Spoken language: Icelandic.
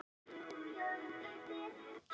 Garnaflækja er af ýmsum gerðum.